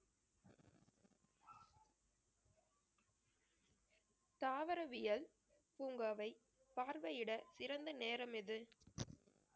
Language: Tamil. தாவரவியல் பூங்காவை பார்வையிட சிறந்த நேரம் எது